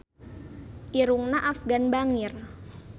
Irungna Afgan bangir